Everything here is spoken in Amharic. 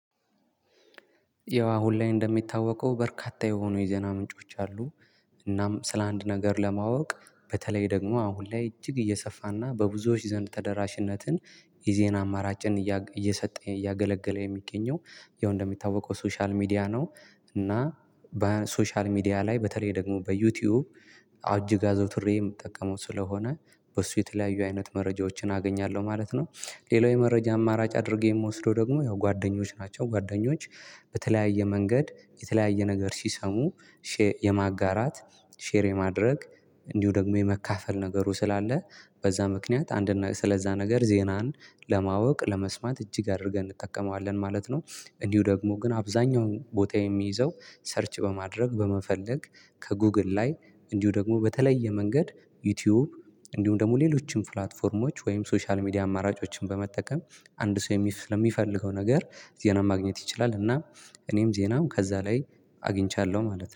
ያው አሁን ላይ የሚታወቀው በርካታ የዜና ምንጮች አሉ። እናም ስለ አንድ ነገር ለማወቅ በተለይ ደግሞ አሁን ላይ እጅግ እየሰፋና በብዙዎች ዘንድ ተደራሽነትን የዜና አማራጭን እየሰጠ እያገለገለ የሚገኘው ያው እንደሚታወቀው ሶሻል ሚዲያ ነው። እና በሶሻል ሚዲያ ላይ በተለይ ደግሞ በዩቲዩብ አጅግ አዘውትሬ የምጠቀመው ስለሆነ በሱ የተለያዩ አይነት መረጃዎችን አገኛለሁ ማለት ነው። ሌላው የመረጃ አማራጭ አድርጌ የምወስደው ደግሞ ያው ጓደኞች ናቸው ጓደኞች በተለያየ መንገድ የተለያየ ነገር ሲሰሙ። የማጋራት ሼር የማድረግ እንዲሁ ደግሞ የመካፈል ነገሩ ስላለ በዛ ምክንያት አንድ ስለዛ ነገር ዜናን ለማወቅ ለመስማት እጅግ አድርገን እንጠቀመዋለን ማለት ነው። እንዲሁ ደግሞ ግን አብዛኛውን ቦታ የሚይዘው ሰርች በማድረግ በመፈለግ ከጉግል ላይ እንዲሁ ደግሞ በተለየ መንገድ ዩቲዩብ እንዲሁም ደግሞ ሌሎችን ፕላትፎርሞች ወይም ሶሻል ሚዲያ አማራጮችን በመጠቀም አንድ ሰው ስለሚፈልገው ነገር ዜና ማግኘት ይችላል። እና እኔም ዜናም ከዛ ላይ አግኝቻለሁ ማለት ነው